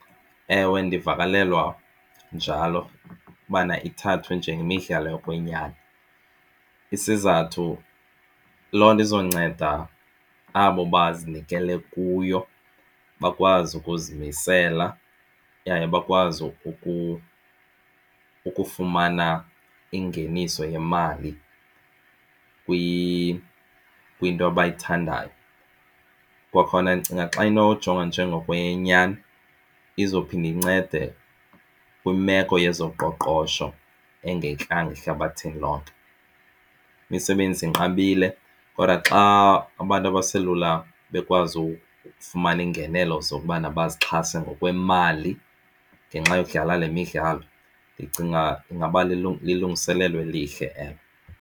Ewe, ndivakalelwa njalo ubana ithathwe njengemidlalo yokwenyani, isizathu loo nto izonceda abo bazinikele kuyo bakwazi ukuzimisela yaye bakwazi ukufumana ingeniso yemali kwinto abayithandayo. Kwakhona ndicinga xa inoyijonga nje ngokweyenyani izophinda incede kwimeko yezoqoqosho ehlabathini lonke. Imisebenzi inqabile kodwa xa abantu abaselula bekwazi ukufumana iingenelo zokubana bazixhase ngokwemali ngenxa yokudlala le midlalo ndicinga ingaba lilungiselelo elihle elo.